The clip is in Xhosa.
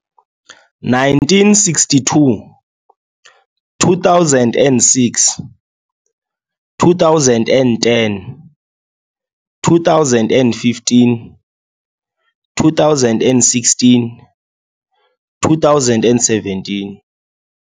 - 1962 - 2006 - 2010 - 2015 - 2016 - 2017